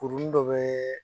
Kuruni dɔ bɛ